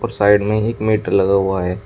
Side में ही एक मीटर लगा हुआ है।